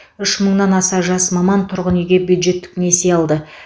үш мыңнан аса жас маман тұрғын үйге бюджеттік несие алды